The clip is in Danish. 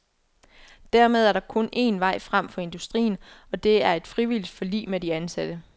Dermed er der en kun vej frem for industrien, og det er et frivilligt forlig med de ansatte.